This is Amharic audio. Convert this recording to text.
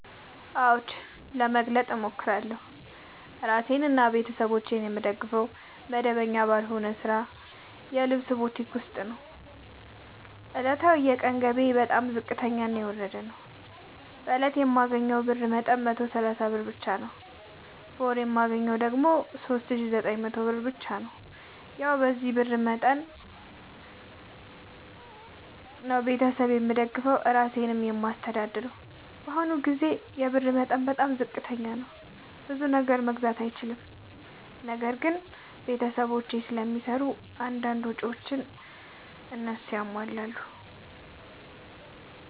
አዎድ መግለጥ እችላለሁ። እኔ እራሴንና ቤተሠቦቼን የምደግፈዉ መደበኛ ባልሆነ ስራ የልብስ ቡቲክ ዉስጥ ነዉ። ዕለታዊ የቀን ገቢየ በጣም ዝቅተኛና የወረደ ነዉ። በእለት የማገኘዉ የብር መጠን 130 ብር ብቻ ነዉ። በወር የማገኘዉ ደግሞ 3900 ብር ብቻ ነዉ። ያዉ በዚህ የብር መጠን መጠን ነዉ። ቤተሠብ የምደግፈዉ እራሴንም የማስተዳድረዉ በአሁኑ ጊዜ ይሄ ብር በጣም ዝቅተኛ ነዉ። ብዙ ነገር መግዛት አይችልም። ነገር ግን ቤተሰቦቼም ስለሚሰሩ አንዳንድ ነገሮችን ያሟላሉ።